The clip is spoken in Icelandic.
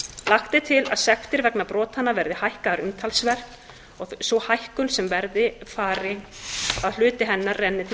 lagt er til að sektir vegna brotanna verði hækkaðar umtalsvert og hluti þeirra renni til